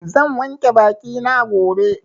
Zan wanke baki na gobe.